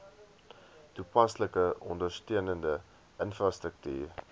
toepaslike ondersteunende infrastruktuur